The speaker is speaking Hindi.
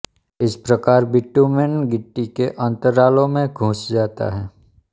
इस प्रकार बिटुमेन गिट्टी के अंतरालों में घुस जाता है